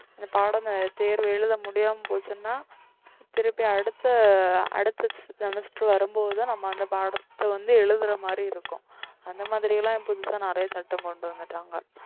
இந்த பாடம் தேர்வு எழுத முடியாம போச்சுன்னா திருப்பி அடுத்த அடுத்த semester வரும்போதுதான் நம்ம அந்த பாடத்தை வந்து எழுதுற மாதிரி இருக்கும் அந்த மாதிரி எல்லாம் புதுசா நிறைய சட்டம் கொண்டு வந்துட்டாங்க